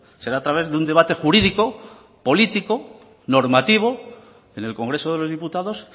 será a través de un debate jurídico político normativo en el congreso de los diputados